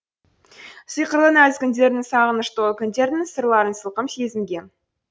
сиқырлы нәзік үндердің сағыныш толы күндердің сырларын сылқым сезінгем